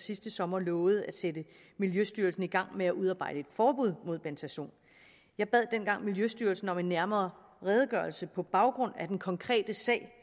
sidste sommer lovede at sætte miljøstyrelsen i gang med at udarbejde et forbud mod bentazon jeg bad dengang miljøstyrelsen om en nærmere redegørelse på baggrund af den konkrete sag